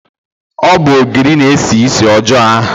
Ọ bụ ogiri na-esi ísì ọjọọ ahụ